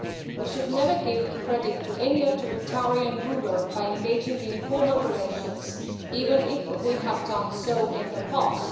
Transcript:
We should never give credit to any authoritarian ruler by engaging in formal relations, even if we have done so in the past.